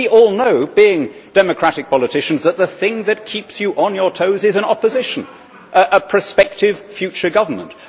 We all know, being democratic politicians, that the thing that keeps you on your toes is an opposition, a prospective future government.